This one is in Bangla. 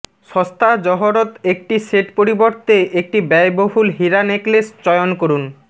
সস্তা জহরত একটি সেট পরিবর্তে একটি ব্যয়বহুল হীরা নেকলেস চয়ন করুন